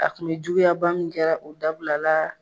A kun bɛ juguya ba min kɛra o dabilala